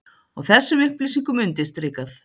Og þessum upplýsingum undirstrikað